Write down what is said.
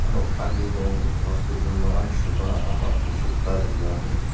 ano ali nung hospital nung amshiba oset kar yua lir.